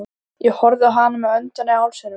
Ég horfði á hana með öndina í hálsinum.